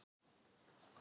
Ég hélt nú ekki.